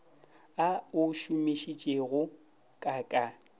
a o šomišitšego ka ka